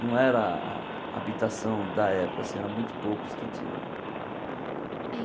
Não era a a habitação da época, eram muito poucos que tinham.